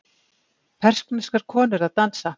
Persneskar konur að dansa.